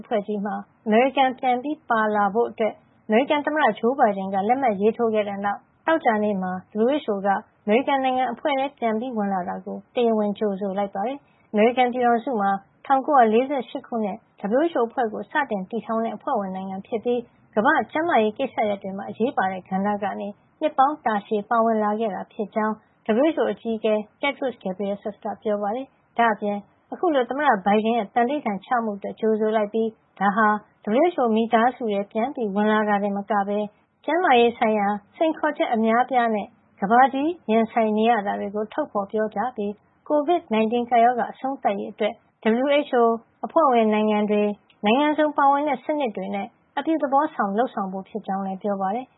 ဖွဲ့ကြီးမှာ အမေရိကန်ပြန်လည်ပါဝင်ဖို့ အမေရိကန်သမ္မတဂျိုးဘိုင်ဒန်က လက်မှတ်ရေးထိုးခဲ့တဲ့ နောက် သောကြာနေ့မှာ WHO က အမေရိကန်နိုင်ငံ အဖွဲ့ထဲ ပြန်ဝင်လာတာကို တရားဝင်ကြိုဆိုလိုက်ပါတယ်။ အမေရိကန်ပြည်ထောင်စုဟာ ၁၉၄၈ ခုနှစ် WHO အဖွဲ့ကို စတင်တည်ထောင်တဲ့ အဖွဲ့ဝင် နိုင်ငံဖြစ်ပြီး ကမ္ဘာ့ကျန်းမာရေးကိစ္စရပ်တွေမှာ အရေးပါတဲ့ ကဏ္ဍကနေ နှစ်ပေါင်းတာရှည် ပါဝင်လာခဲ့တာ ဖြစ်ကြောင်း WHO အကြီးအကဲ Tedros Adhanom Ghebreyesus က ပြောပါတယ်။ ဒါ့အပြင် အခုလို သမ္မတဘိုင်ဒန်ရဲ့ သန္နိဋ္ဌာန်ချမှုအတွက် ကြိုဆိုလိုက်ပြီး ဒါဟာ WHO မိသားစုထဲ ပြန်ဝင်လာတာတင်မကပဲ ကျန်းမာရေးဆိုင်ရာစိန်ခေါ်ချက် အများအပြားနဲ့ ကမ္ဘာကြီး ရင်ဆိုင်နေရတာတွေကို ထုတ်ဖေါ်ပြောကြားပြီး COVID 19 ကပ်ရောဂါအဆုံးသတ်ရေး အတွက် WHO၊ အဖွဲ့ဝင်နိုင်ငံတွေ၊ နိုင်ငံစုံပါဝင်တဲ့စနစ်တွေနဲ့ အပြုသဘောဆောင် လုပ်ဆောင်ဖို့ဖြစ်ကြောင်း လည်း ပြောပါတယ်